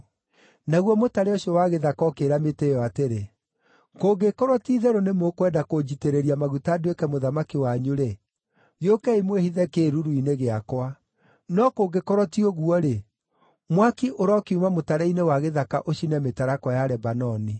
“Naguo mũtare ũcio wa gĩthaka ũkĩĩra mĩtĩ ĩyo atĩrĩ, ‘Kũngĩkorwo ti-itherũ nĩ mũkwenda kũnjitĩrĩria maguta nduĩke mũthamaki wanyu-rĩ, gĩũkei mwĩhithe kĩĩruru-inĩ gĩakwa; no kũngĩkorwo ti ũguo-rĩ, mwaki ũrokiuma mũtare-inĩ wa gĩthaka ũcine mĩtarakwa ya Lebanoni!’